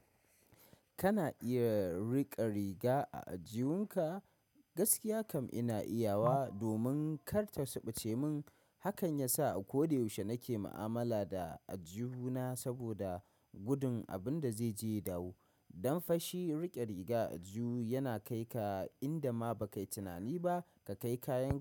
Kana iya riƙa riga a ajiyunka? Gaskiya kam ina iya wa domin kar ta subuce mun. Hakan yasa a ko da yaushe nake ma'amala da ajihuna saboda gudun abin da zaijeya dawo. Don fashi riƙe riga a ajihu yana kai ka inda ma ba ka yi tunani ba ka kai kayanka.